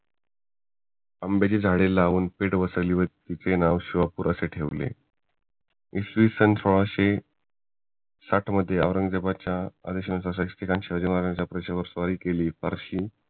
आंब्याचे झाडे लावून वसवली व तिचे नाव शिवापूर असे ठेवले इसवीसन सोळाशे साठ मध्ये औरंगजेबाच्या आदेशांचे शिवाजी महाराजांच्या स्वारी केली